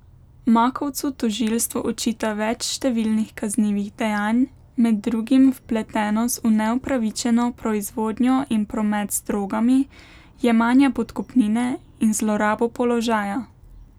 Makovcu tožilstvo očita več številnih kaznivih dejanj, med drugim vpletenost v neupravičeno proizvodnjo in promet z drogami, jemanje podkupnine in zlorabo položaja.